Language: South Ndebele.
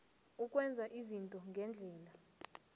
ukwenza izinto ngendlela